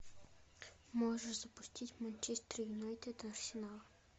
можешь запустить манчестер юнайтед арсенал